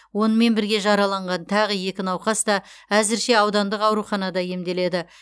онымен бірге жараланған тағы екі науқас та әзірше аудандық ауруханада емделеді